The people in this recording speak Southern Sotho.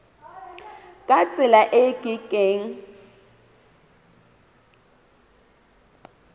ka tsela e ke keng